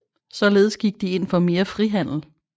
Således gik de ind for mere frihandel